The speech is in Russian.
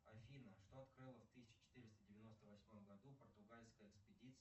афина что открыла в тысяча четыреста девяносто восьмом году португальская экспедиция